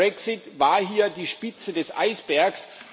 Der Brexit war hier die Spitze des Eisbergs.